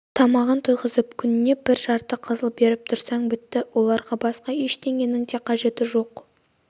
тамағын тойғызып күніне бір жарты қызыл беріп тұрсаң бітті оларға басқа ештеңенің қажет жоқ